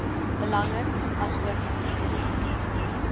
belangrik asook oefeninge